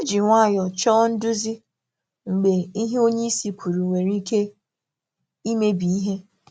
Hà jụrụ ndụmọdụ nwayọ nwayọ mgbe ihe onye isi sịrị bìrì ka ọ na-emebi um ma ọ bụ gàrà um oke.